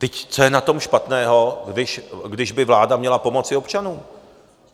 Vždyť co je na tom špatného, když by vláda měla pomoci občanům?